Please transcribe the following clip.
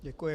Děkuji.